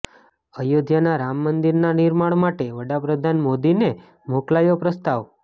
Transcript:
અયોધ્યામાં રામ મંદિરના નિર્માણ માટે વડાપ્રધાન મોદીને મોકલાયો પ્રસ્તાવ